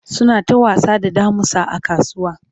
suna ta wasa da damusa a kasuwa